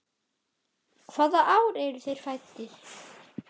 Hvaða ár eru þeir fæddir?